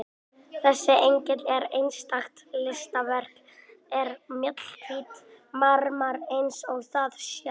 Þessi engill er einstakt listaverk úr mjallhvítum marmara eins og þið sjáið.